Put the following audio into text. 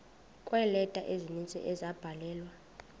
kweeleta ezininzi ezabhalelwa